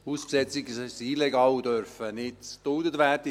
Hausbesetzungen sind illegal und dürfen nicht geduldet werden.